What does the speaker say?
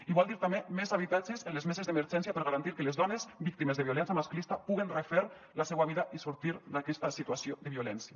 i vol dir també més habitatges en les meses d’emergència per a garantir que les dones víctimes de violència masclista puguin refer la seua vida i sortir d’aquesta situació de violència